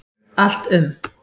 Allt um